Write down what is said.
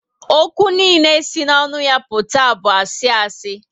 Ókwú niile si n'onu ya aputa bu asi asi